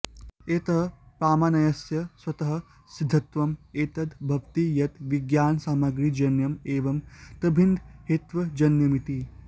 यतः प्रामाण्यस्य स्वतः सिद्धत्वं एतद् भवति यत् विज्ञानसामग्रीजन्यम् एवं तद्भिन्नहेत्वजन्यमिति